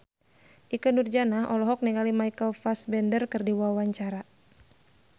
Ikke Nurjanah olohok ningali Michael Fassbender keur diwawancara